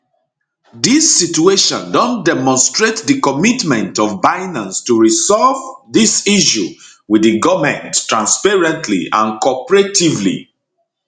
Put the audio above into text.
dis situation don demonstrate di commitment of binance to resolve dis issue wit di goment transparently and cooperatively